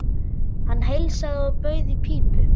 Hann heilsaði og bauð í pípu.